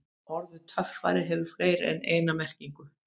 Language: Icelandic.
Orðið töffari hefur fleiri en eina merkingu.